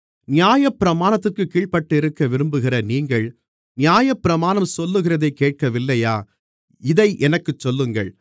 நியாயப்பிரமாணத்திற்குக் கீழ்ப்பட்டிருக்க விரும்புகிற நீங்கள் நியாயப்பிரமாணம் சொல்லுகிறதைக் கேட்கவில்லையா இதை எனக்குச் சொல்லுங்கள்